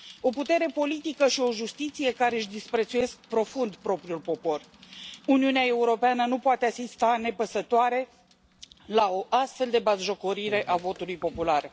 O putere politică și o justiție care își disprețuiesc profund propriul popor Uniunea Europeană nu poate asista nepăsătoare la o astfel de batjocorire a votului popular.